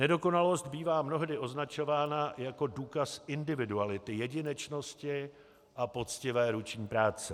Nedokonalost bývá mnohdy označována jako důkaz individuality, jedinečnosti a poctivé ruční práce.